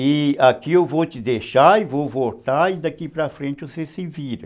E aqui eu vou te deixar e vou voltar e daqui para frente você se vira.